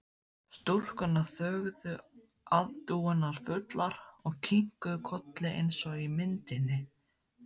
Stúlkurnar þögðu aðdáunarfullar og kinkuðu kolli eins og í myndinni.